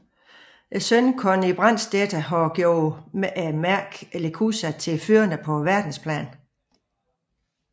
Sønnen Conny Brandstätter har gjort mærket Lechuza til førende på verdensplan